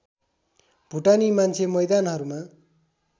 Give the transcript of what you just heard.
भुटानी मान्छे मैदानहरूमा